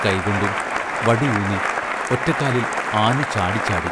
കൈകൊണ്ടും വടി ഊന്നി, ഒറ്റക്കാലിൽ ആഞ്ഞു ചാടിച്ചാടി...